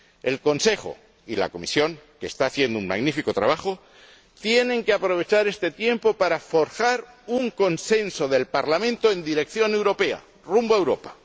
El Consejo y la Comisión, que está haciendo un magnífico trabajo, tienen que aprovechar este tiempo para forjar un consenso del Parlamento en dirección europea, rumbo a Europa.